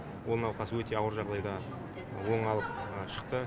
ол науқас өте ауыр жағдайда оңалып шықты